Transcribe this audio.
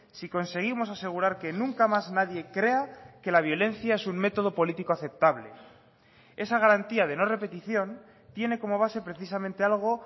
si conseguimos asegurar que nunca más nadie crea que la violencia es un método político aceptable esa garantía de no repetición tiene como base precisamente algo